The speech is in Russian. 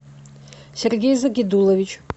сергей загидулович